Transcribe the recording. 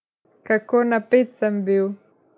Kako napet sem bil.